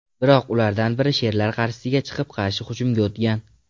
Biroq ulardan biri sherlar qarshisiga chiqib, qarshi hujumga o‘tgan.